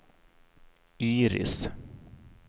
Iris